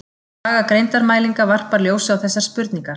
Saga greindarmælinga varpar ljósi á þessar spurningar.